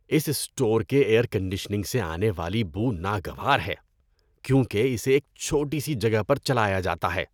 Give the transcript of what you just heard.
اس store کے air conditioning سے آنے والی بو ناگوار ہے کیونکہ اسے ایک چھوٹی سی جگہ پر چلایا جاتا ہے۔